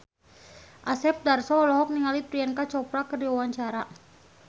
Asep Darso olohok ningali Priyanka Chopra keur diwawancara